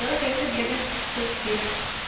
сорок лет победы сто четыре